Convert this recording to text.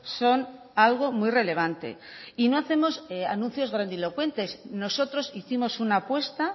son algo muy relevante y no hacemos anuncios grandilocuentes nosotros hicimos una apuesta